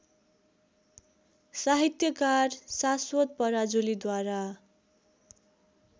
साहित्यकार शाश्वत पराजुलीद्वारा